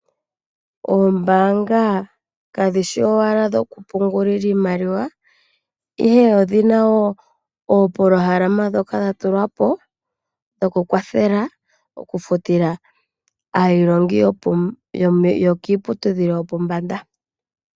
Oombaanga kadhishi owala dhokupungulila iimaliwa ashike odhi na wo oopolohalama ndhoka dha tulwa po dhokukwathela okufutila aailongi yokiiputudhilo yopombanda.